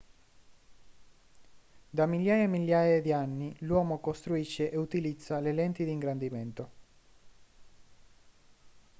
da migliaia e migliaia di anni l'uomo costruisce e utilizza le lenti di ingrandimento